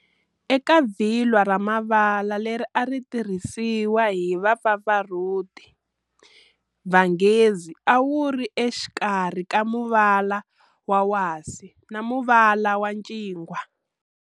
Eka vhilwa ra mavala leri a ritirhisiwa hi va pfapfarhuti, vhangazi a wuri exikarhi ka muvala wa wasi na muvala wa ncingwa.